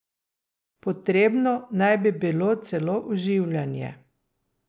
Potrebno naj bi bilo celo oživljanje.